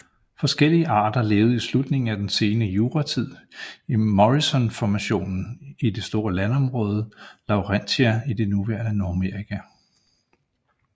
Forskellige arter levede i slutningen af den sene juratid i Morrisonformationen i det store landområde Laurentia i det nuværende Nordamerika